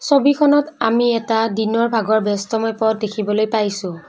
ছবিখনত আমি এটা দিনৰ ভাগৰ ব্যস্তময় পথ দেখিবলৈ পাইছোঁ।